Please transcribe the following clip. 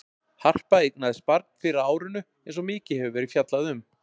Harpa eignaðist barn fyrr á árinu eins og mikið hefur verið fjallað um.